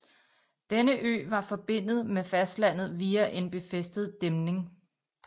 Denne ø var forbindet med fastlandet via en befæstet dæmning